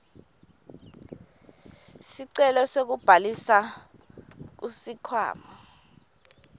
sicelo sekubhalisa kusikhwama